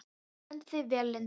Þú stendur þig vel, Lindberg!